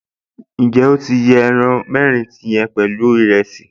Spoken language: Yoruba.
Ǹjẹ́ o ti jẹ ẹran mẹ́rin yẹn pẹ̀lú ìrẹsì?